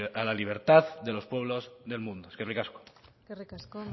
a la libertad de los pueblos del mundo eskerrik asko eskerrik asko